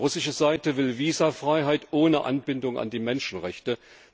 Die russische Seite will Visafreiheit ohne Anbindung an die Menschenrechte.